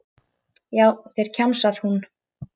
Já, þeir, kjamsar hún.